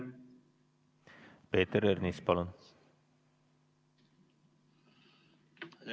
Peeter Ernits, palun!